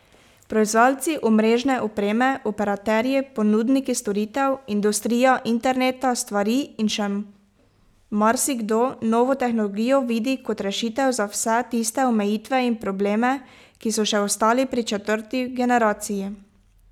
Proizvajalci omrežne opreme, operaterji, ponudniki storitev, industrija interneta stvari in še marsikdo novo tehnologijo vidi kot rešitev za vse tiste omejitve in probleme, ki so še ostali pri četrti generaciji.